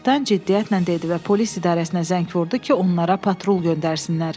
Kapitan ciddiyyətlə dedi və polis idarəsinə zəng vurdu ki, onlara patrul göndərsinlər.